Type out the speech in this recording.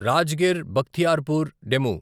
Rajgir Bakhtiyarpur DEMU